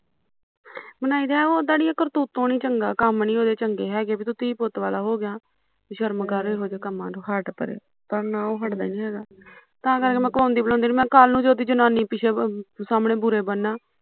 ਬਣਾਈ ਤਾਂ ਹੈ ਅੜੀਏ ਉਦਾ ਕਰਤੁਤੋ ਨੀ ਚੰਗਾ ਕੰਮ ਨੇ ਉਹਦੇ ਚੰਗੇ ਹੈਗੇ ਵੀ ਤੂੰ ਧੀ ਪੁੱਟ ਵਾਲਾ ਹੋਗਿਆ ਸ਼ਰਮ ਕਰ ਇਹੋ ਜਿਹੇ ਕੰਮਾ ਤੋਂ ਹਟ ਪਰੇ ਪਰ ਨਾ ਉਹ ਹਟਦਾ ਨੀ ਹੈਗਾ ਤਾਂ ਕਰਕੇ ਮੈਂ ਕਹਾਉਂਦੀ ਬੁਲਾਉਂਦੀ ਨੀ ਮੈਂ ਕਿਹਾਂ ਕਲੂ ਕਿਤੇ ਜਨਾਨੀ ਪਿੱਛੇ ਸਾਮਣੇ ਬੁਰੇ ਬਣਨਾ